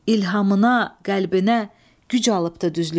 İlhamına, qəlbinə güc alıbdır düzlükdən.